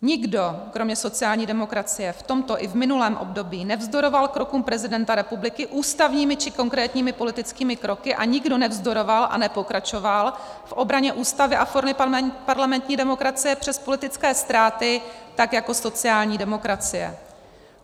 Nikdo kromě sociální demokracie v tomto i v minulém období nevzdoroval krokům prezidenta republiky ústavními či konkrétními politickými kroky a nikdo nevzdoroval a nepokračoval v obraně Ústavy a formy parlamentní demokracie přes politické ztráty tak jako sociální demokracie.